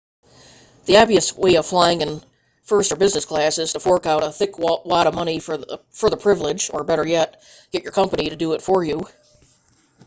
the obvious way of flying in first or business class is to fork out a thick wad of money for the privilege or better yet get your company to do it for you